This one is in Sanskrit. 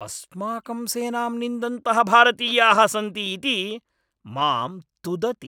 अस्माकं सेनां निन्दन्तः भारतीयाः सन्ति इति मां तुदति।